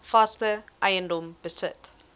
vaste eiendom besit